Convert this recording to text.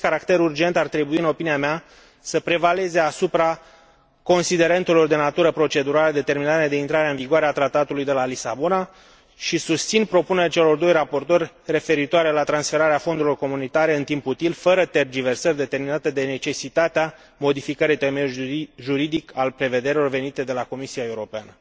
Acest caracter urgent ar trebui, în opinia mea, să prevaleze asupra considerentelor de natură procedurală determinate de intrarea în vigoare a Tratatului de la Lisabona și susțin propunerea celor doi raportori referitoare la transferarea fondurilor comunitare în timp util, fără tergiversări determinate de necesitatea modificării temeiului juridic al prevederilor venite de la Comisia Europeană.